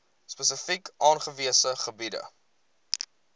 spesifiek aangewese gebiede